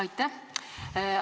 Aitäh!